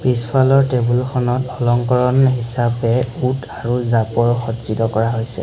পিছফালৰ টেবুলখনত অলংকৰণ হিচাপে উট আৰু সজ্জিত কৰা হৈছে।